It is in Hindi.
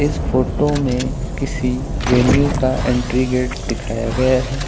इस फोटो में किसी वेन्यू का एंट्री गेट दिखाया गया है।